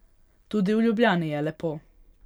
Tudi v Ljubljani je lepo.